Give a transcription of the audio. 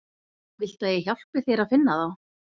Viltu að ég hjálpi þér að finna þá?